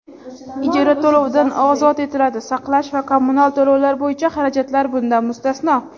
ijara to‘lovidan ozod etiladi (saqlash va kommunal to‘lovlar bo‘yicha xarajatlar bundan mustasno);.